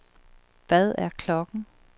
Hvad er klokken